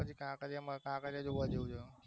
પછી કાંકરિયા કાંકરિયા જોવા જેવું